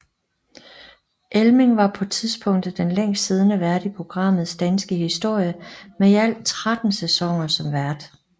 Elming var på tidspunktet den længst siddende vært i programmets danske historie med i alt 13 sæsoner som vært